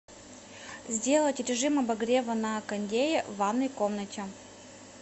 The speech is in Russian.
сделать режим обогрева на кондее в ванной комнате